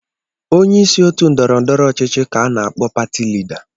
Onyeisi otu ndọrọ ndọrọ ọchịchị ka ana akpọ pati lida.